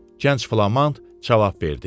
Gənc Flamand cavab verdi.